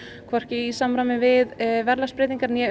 hvorki í samræmi við verðlagsbreytingar né